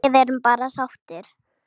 Við erum bara sáttir.